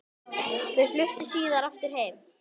Þau fluttu síðar aftur heim.